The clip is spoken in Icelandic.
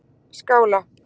Skála